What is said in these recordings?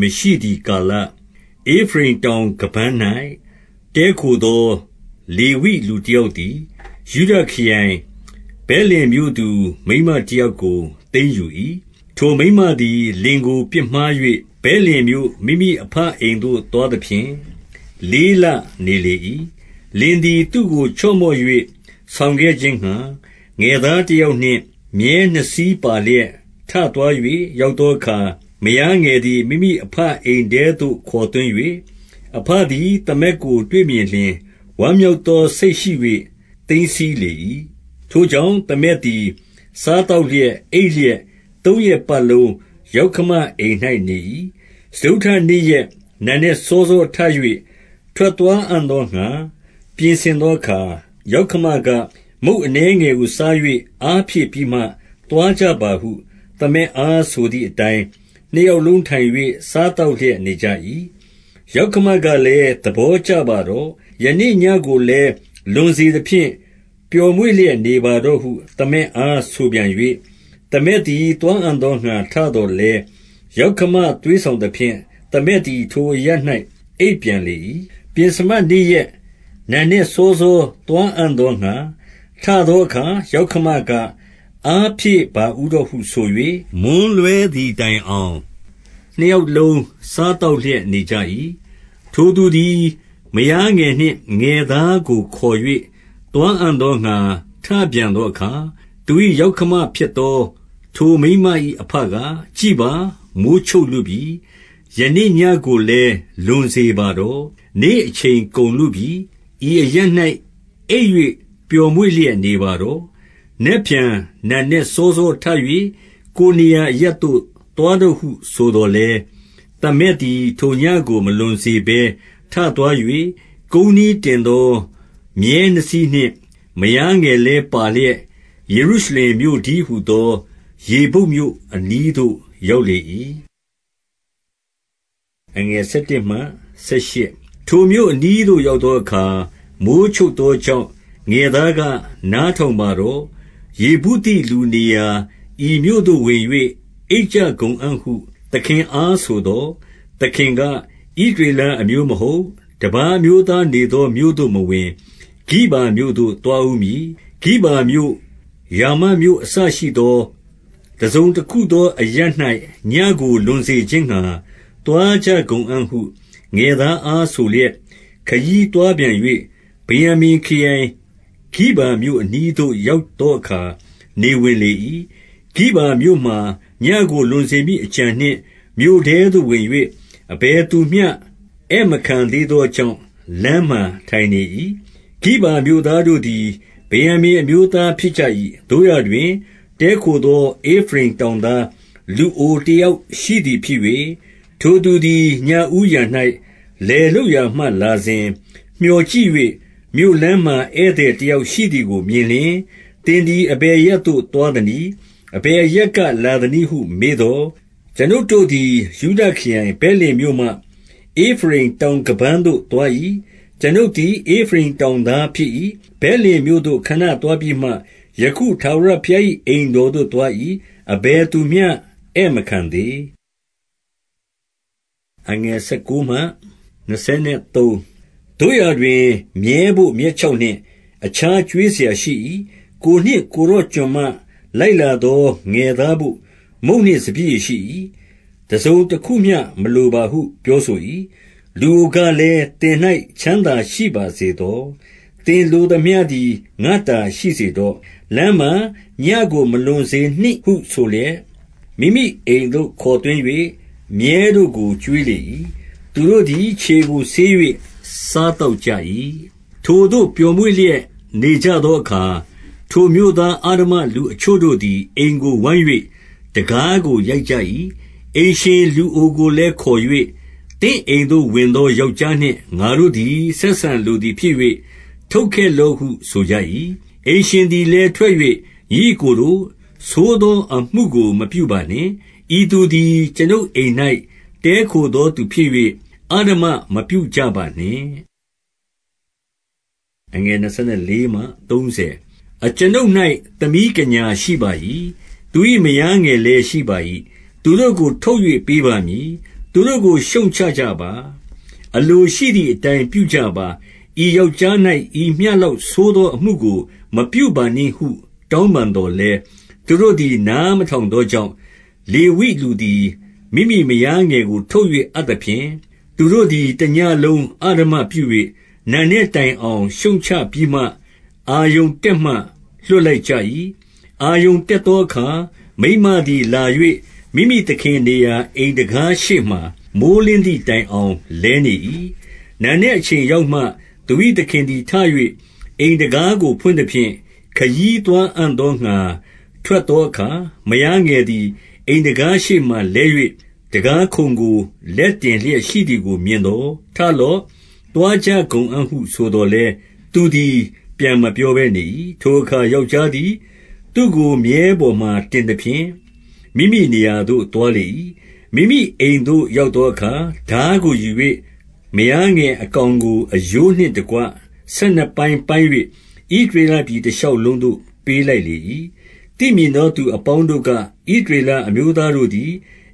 မရှိသည်ကာလ၊ ဧဖရိမ်တောင်ခါးပန်း၌ တည်းခိုသော လေဝိလူတယောက် သည်၊ ယုဒခရိုင် ဗက်လင်မြို့သူ မိန်းမတယောက်ကို သိမ်းယူ၏။ 2 ထိုမိန်းမသည် လင်ကို ပြစ်မှား၍ ဗက်လင်မြို့ မိမိအဘအိမ်သို့ သွားသဖြင့် လေးလ နေလေ၏။ 3 လင်သည် သူ့ကို ချော့မော့၍ ဆောင်ခဲ့ခြင်းငှါ ငယ်သားတယောက်နှင့် မြည်းနှစ်စီးပါလျက် ထသွား ၍ ရောက်သောအခါ၊ မယားငယ်သည် မိမိအဘ အိမ်ထဲသို့ ခေါ်သွင်း၍၊ အဘသည် သမက်ကို တွေ့မြင်လျှင် ဝမ်းမြောက်သော စိတ်ရှိ၍ သိမ်းဆည်းလေ၏။ 4 ထိုကြောင့် သမက်သည် စားသောက်လျက်၊ အိပ်လျက်၊ သုံးရက်ပတ်လုံး ယောက္ခမအိမ်၌ နေ၏။ 5 စတုတ္တနေ့ရက် နံနက်စောစောထ၍ ထွက်သွားအံ့သောငှါ ပြင်ဆင်သောအခါ၊ ယောက္ခမက၊ မုန့် အနည်းငယ်ကို စား၍ အားဖြည့်ပြီးမှ သွားကြပါဟု သမက်အား ဆိုသည့်အတိုင်း၊ 6 နှစ်ယောက်လုံးထိုင်၍ စားသောက်လျက် နေကြ၏။ ယောက္ခမကလည်း၊ သဘောကျပါတော့။ ယနေ့ ညဉ့်ကိုလည်း လွန်စေသဖြင့် ပျော်မွေ့လျက်နေပါတော့ဟု သမက်အားဆိုပြန်၍၊ 7 သမက်သည် သွားအံ့သောငှါ ထသော်လည်း၊ ယောက္ခမသွေးဆောင်သဖြင့် သမက်သည် ထိုအရပ်၌ အိပ်ပြန်လေ၏။ 8 ပဥ္စမနေ့ရက် နံနက်စောစော သွားအံ့သောငှါ ထသောအခါ၊ ယောက္ခမက၊ အားဖြည့်ပါဦးတော့ဟု ဆို၍ မွန်းလွဲသည်တိုင်အောင် နှစ်ယောက်လုံး စားသောက်လျက်နေကြ၏။ 9 ထိုသူသည် မယားငယ်နှင့် ငယ်သားကို ခေါ်၍ သွားအံ့သောငှါ ထပြန်သောအခါ၊ သူ၏ ယောက္ခ မဖြစ်သော ထိုမိန်းမ၏ အဘက၊ ကြည့်ပါ၊ မိုဃ်းချုပ်လုပြီ။ ယနေ့ညဉ့်ကိုလည်း လွန်စေပါတော့။ နေ့အချိန် ကုန်လုပြီ။ ဤအရပ်၌ အိပ်၍ ပျော်မွေ့လျက်နေပါတော့။ နက်ဖြန် နံနက် စောစောထ၍ ကိုယ်နေရာအရပ်သို့ သွားတော့ဟု ဆိုသော်လည်း၊- 10 သမက်သည် ထိုညဉ့်ကို မလွန်စေဘဲ ထသွား၍ ကုန်းနှီးတင်သော မြည်းနှစ်စီးနှင့် မယားငယ်လည်း ပါလျက် ယေရုရှလင်မြို့တည်းဟူသော ယေဗုတ်မြို့အနီးသို့ ရောက်လေ၏။ 11 ထိုမြို့အနီးသို့ ရောက်သောအခါ၊ မိုဃ်းချုပ်သောကြောင့် ငယ်သားက၊ နားထောင်ပါတော့။ ယေဗုသိ လူနေရာ ဤမြို့သို့ ဝင်၍ အိပ်ကြကုန်အံ့ဟု သခင်အားဆိုသော်၊- 12 သခင်က၊ ဣသရေလ အမျိုးမဟုတ်၊ တပါးအမျိုးသားနေသော မြို့သို့ မဝင်၊ ဂိဗာမြို့သို့ သွားဦးမည်။ 13 ဂိဗာမြို့၊ ရာမမြို့ အစရှိသော တစုံတခုသောအရပ်၌ ညဉ့်ကိုလွန်စေခြင်းငှါ သွားကြကုန်အံ့ဟု ငယ်သားအားဆိုလျက်၊- 14 ခရီးသွားပြန်၍ ဗင်္ယာမိန်ခရိုင် ဂိဗာမြို့အနီးသို့ ရောက်သောအခါ၊ နေဝင်လေ၏။ 15 ဂိဗာမြို့မှာ ညဉ့်ကို လွန်စေမည်အကြံနှင့် မြို့ထဲသို့ဝင်၍ အဘယ်သူ မျှ ဧည့်မခံသေးသောကြောင့် လမ်းမှာထိုင်နေ၏။ 16 ဂိဗာမြို့သားတို့သည် ဗင်္ယာမိန်အမျိုးသားဖြစ်ကြ၏။ သို့ရာတွင် တည်းခိုသော ဧဖရိမ်တောင်သား လူအိုတယောက်ရှိသည်ဖြစ်၍၊ ထိုသူသည် ညဦးယံ၌ လယ်လုပ်ရာမှလာစဉ်၊- 17 မြော်ကြည့်၍၊ မြို့လမ်းမှာ ဧည့်သည်တယောက် ရှိသည်ကိုမြင်လျှင်၊ သင်သည် အဘယ်အရပ်သို့ သွားသနည်း၊ အဘယ်အရပ်ကလာသနည်းဟု မေးသော်၊- 18 ကျွန်ုပ်တို့သည် ယုဒခရိုင်ဗက်လင်မြို့မှ ဧဖရိမ်တောင်ခါးပန်းသို့ သွား၏။ ကျွန်ုပ်သည် ဧဖရိမ်တောင် သားဖြစ်၏။ ဗက်လင်မြို့သို့ ခဏသွားပြီးမှ ယခုထာဝရဘုရား၏ အိမ်တော်သို့ သွား၏။ အဘယ်သူ မျှ ဧည့်မခံသေး။ 19 သို့ရာတွင် မြည်းဘို့ မြက်ခြောက်နှင့် အခြားကျွေးစရာရှိ၏။ ကိုယ်နှင့် ကိုယ်တော် ကျွန်မလိုက်လာ သော ငယ်သားဘို့ မုန့်နှင့်စပျစ်ရည်ရှိ၏။ တစုံတခုမျှ မလိုပါဟု ပြောဆို၏။ 20 လူအိုကလည်း၊ သင်၌ ချမ်းသာရှိပါစေသော။ သင်လိုသမျှသည် ငါ့တာ ရှိစေတော့။ လမ်းမှာညဉ့်ကို မလွန်စေနှင့်ဟုဆိုလျက်၊- 21 မိမိအိမ်သို့ ခေါ်သွင်း၍ မြည်းတို့ကို ကျွေးလေ၏။ သူတို့သည် ခြေကို ဆေး၍ စားသောက်ကြ၏။ 22 ထိုသို့ ပျော်မွေ့လျက်နေကြသောအခါ၊ ထိုမြို့သား အဓမ္မလူအချို့တို့သည် အိမ်ကို ဝိုင်း၍ တံခါးကို ရိုက်ကြ၏။ အိမ်ရှင် လူအိုကိုလည်းခေါ်၍၊ သင့်အိမ်သို့ ဝင်သောယောက်ျားနှင့် ငါတို့သည် ဆက်ဆံ လိုသည်ဖြစ်၍၊ ထုတ်ခဲ့လော့ဟု ဆိုကြ၏။ 23 အိမ်ရှင်သည်လည်း ထွက်၍၊ ညီအစ်ကိုတို့၊ ဆိုးသောအမှုကို မပြုပါနှင့်။ ဤသူသည် အကျွန်ုပ်အိမ်၌ တည်းခိုသောသူဖြစ်၍ အဓမ္မမပြုကြပါနှင့်။ 24 အကျွန်ုပ်၌ သမီးကညာရှိပါ၏။ သူ၏မယားငယ်လည်း ရှိပါ၏။ သူတို့ကို ထုတ်၍ ပေးပါမည်။ သူတို့ကို ရှုတ်ချကြပါ။ အလိုရှိသည်အတိုင်း ပြုကြပါ။ ဤယောက်ျား၌ ဤမျှလောက် ဆိုးသောအမှုကို မပြုပါနှင့်ဟု တောင်းပန်သော်လည်း၊- 25 သူတို့သည် နားမထောင်သောကြောင့်၊ လေဝိလူသည် မိမိမယားငယ်ကို ထုတ် အပ်သဖြင့်၊ သူတို့သည် တညဉ့်လုံး အဓမ္မပြု၍ နံနက်တိုင်အောင် ရှုတ်ချပြီးမှ အာရုဏ်တက်မှ လွှတ်လိုက်ကြ၏။ 26 အာရုဏ်တက်သောအခါ၊ မိန်းမသည် လာ၍ မိမိသခင်နေရာ အိမ်တံခါးရှေ့မှာ မိုဃ်းလင်းသည် တိုင်အောင် လဲနေ၏။ 27 နံနက်အချိန်ရောက်မှ သူ၏ သခင်သည် ထ၍ အိမ်တံခါးကို ဖွင့်သဖြင့်၊ ခရီးသွားအံ့သောငှါ ထွက်သောအခါ၊ မယားငယ်သည် အိမ်တံခါးရှေ့မှာလဲ၍ တံခါးခုံကို လက်တင်လျက်ရှိသည် မြင်သော်၊ 28 ထလော့။ သွားကြကုန်အံ့ဟု ဆိုသော်လည်း သူသည် ပြန်မပြောဘဲနေ၏။ ထိုအခါ ယောက်ျားသည် သူ့ကို မြည်းပေါ်မှာ တင်သဖြင့် မိမိနေရာသို့ သွားလေ၏။ 29 မိမိအိမ်သို့ ရောက်သောအခါ ထားကိုယူ၍ မယားငယ်အကောင်ကို အရိုးနှင့်တကွ ဆယ်နှစ်ပိုင်းပိုင်း၍ ဣသရေလပြည် တရှောက်လုံးသို့ ပေးလိုက်လေ၏။ 30 သိမြင်သောသူ အပေါင်းတို့က၊ ဣသရေလအမျိုးသားတို့သည်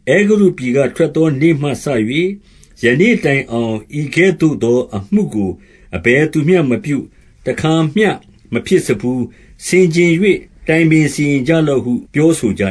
အဲဂုတ္တုပြည်က ထွက်သောနေ့မှစ၍ ယနေ့တိုင်အောင် ဤကဲ့သို့သောအမှုကို အဘယ်သူမျှမပြု၊ တခါမျှမဖြစ်စဖူး။ ဆင်ခြင်၍ တိုင်ပင် စီရင်ကြလော့ဟု ပြောဆိုကြ